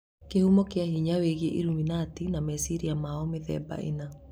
Kĩhumo kia hinya wĩgie illuminati na meciria mao mĩthemba ĩna